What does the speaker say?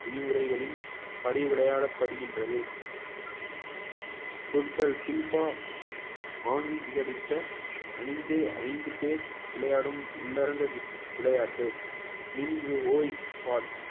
விதிமுறைகளின் படி விளையாடப்படுகின்றது ஆங்கீகரித்த அணிந்து ஐந்து பேர் விளையாடும் உள்ளரங்க விளையாட்டு mini